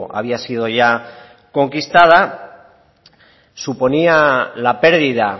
había sido ya conquistada suponía la perdida